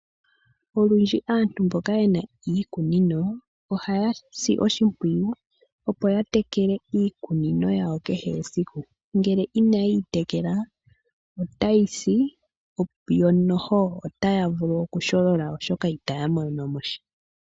Olundji aantu mboka yena iikunino ohaya si oshimpwiyu opo yatekele iikunino yawo kehe esiku, ngele inayi tekelwa otayi si yo otaya vulu okusholola oshoka itaya mono mosha.